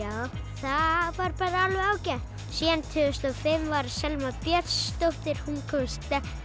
það var bara alveg ágætt síðan tvö þúsund og fimm var Selma Björnsdóttir hún komst